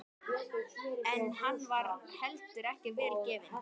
En hann var heldur ekki vel gefinn.